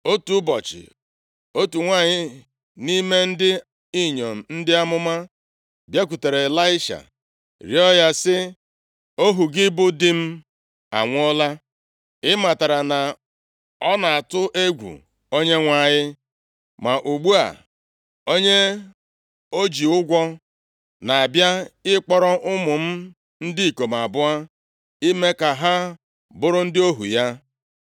Otu ụbọchị, otu nwanyị nʼime ndị inyom ndị amụma bịakwutere Ịlaisha rịọ ya sị, “Ohu gị, bụ di m anwụọla. Ị matara na ọ na-atụ egwu + 4:1 Ọ sọpụụrụ Onyenwe anyị Onyenwe anyị. Ma ugbu a, onye o ji ụgwọ na-abịa ịkpọrọ ụmụ m ndị ikom abụọ ime ka ha bụrụ ndị ohu ya.”